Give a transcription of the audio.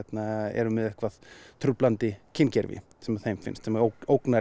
eru með eitthvað truflandi kyngervi sem þeim finnst sem ógnar